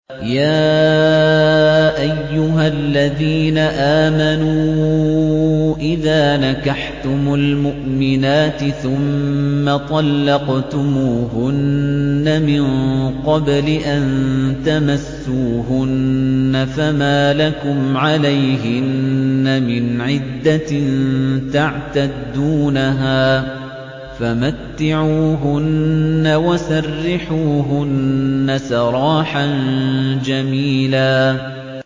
يَا أَيُّهَا الَّذِينَ آمَنُوا إِذَا نَكَحْتُمُ الْمُؤْمِنَاتِ ثُمَّ طَلَّقْتُمُوهُنَّ مِن قَبْلِ أَن تَمَسُّوهُنَّ فَمَا لَكُمْ عَلَيْهِنَّ مِنْ عِدَّةٍ تَعْتَدُّونَهَا ۖ فَمَتِّعُوهُنَّ وَسَرِّحُوهُنَّ سَرَاحًا جَمِيلًا